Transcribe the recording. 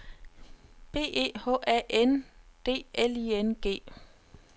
B E H A N D L I N G